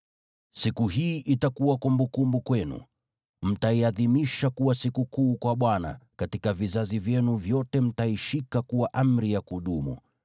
“Siku hii itakuwa kumbukumbu kwenu, mtaiadhimisha kuwa sikukuu kwa Bwana , katika vizazi vyenu vyote: mtaishika kuwa amri ya kudumu.